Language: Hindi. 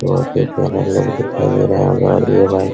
बहुत ही प्यारा लुक दिखाई दे रहा होगा और ये भाई --